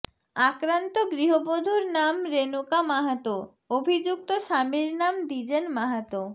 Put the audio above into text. আক্রান্ত গৃহবধূর নাম রেনুকা মাহাতো অভিযুক্ত স্বামীর নাম দ্বিজেন মাহাতো